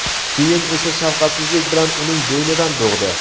Keyin esa shafqatsizlik bilan uning bo‘ynidan bo‘g‘di.